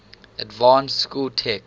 advanced school text